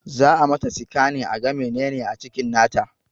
Za a mata sikanin aga menene a cikin nata